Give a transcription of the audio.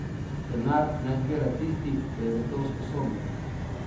Denar naj zbira tisti, ki je za to usposobljen.